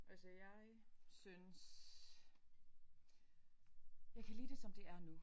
Altså jeg synes jeg kan lide det som det er nu